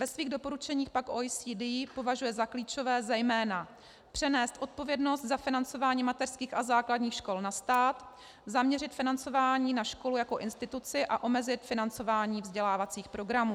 Ve svých doporučeních pak OECD považuje za klíčové zejména přenést odpovědnost za financování mateřských a základních škol na stát, zaměřit financování na školu jako instituci a omezit financování vzdělávacích programů.